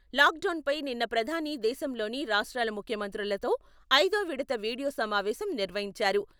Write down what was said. Lock డౌన్పై నిన్న ప్రధాని దేశంలోని రాష్ట్రాల ముఖ్యమంత్రులతో ఐదో విడత వీడియో సమావేశం నిర్వహించారు.